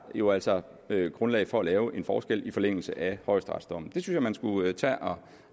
jo altså grundlag for at lave en forskel i forlængelse af højesteretsdommen det synes jeg man skulle tage